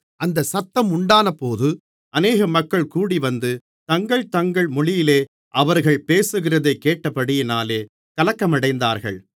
அந்த சத்தம் உண்டானபோது அநேக மக்கள் கூடிவந்து தங்கள் தங்கள் மொழியிலே அவர்கள் பேசுகிறதை கேட்டபடியினாலே கலக்கமடைந்தார்கள்